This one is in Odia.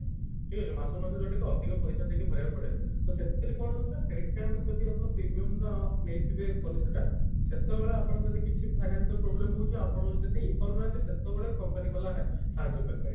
ଠିକ ଅଛି ମାସକୁ ମାସ ଯୋଉଟା କି ଅଧିକ ପଇସା ଦେଇକି ଭରିବାକୁ ପଡେ ତ ସେଥିରେ କଣ ହଉଛି ନା ସେଇ time ରେ ଯଦି ଆପଣ premium ର ନେଇଥିବେ policy ଟା ସେତେବେଳେ ଆପଣ ଯଦି କିଛି financial problem ହଉଛି ଆପଣ ଯଦି ଦେଇପାରୁ ନାହାନ୍ତି ସେତେବେଳେ company ବାଲା ହା ସାହାଜ୍ଯ କରିପାରିବେ